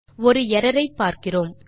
ஒரு எர்ரர் ஐ பார்க்கிறோம்